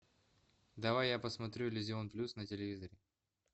давай я посмотрю иллюзион плюс на телевизоре